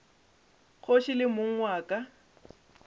kgoši le mong wa ka